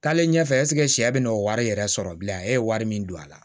Taale ɲɛfɛ sɛ bɛna n'o wari yɛrɛ sɔrɔ bilen e ye wari min don a la